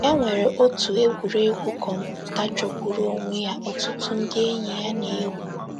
E nwere otu egwuregwu kọmputa jọgburu onwe ya ọtụtụ ndị enyi ya na - egwu.